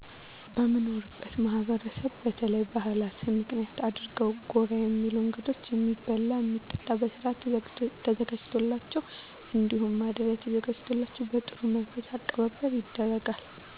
በምኖርበት ማህበረሰብ በተለይ ባህላትን ምክንያት አድርገው ጎራ የሚሉ እንግዶች የሚበላ የሚጠጣ በስርአት ተዘጋጅቶላቸው እንዲሁም ማደሪያ ተዘጋጅቶላቸው በጥሩ መንፈስ አቀባበል ይደረጋል።